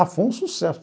Ah, foi um sucesso.